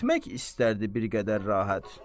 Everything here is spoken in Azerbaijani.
Etmək istərdi bir qədər rahat.